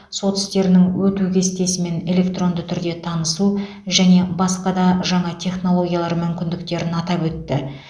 сот істерінің өту кестесімен электронды түрде танысу және басқа да жаңа технологиялар мүмкіндіктерін атап өтті